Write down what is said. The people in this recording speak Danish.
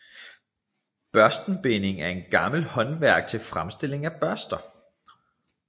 Børstenbinding er et gammelt håndværk til fremstilling af børster